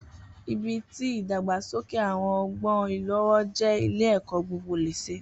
Ibi ti idagbasoke awọn ọgbọn ilowo jẹ ile ẹkọ gbogbo lésè